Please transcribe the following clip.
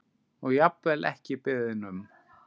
Og jafnvel ekki beðinn um.